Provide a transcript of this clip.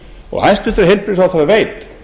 og tólf og hæstvirtur heilbrigðisráðherra veit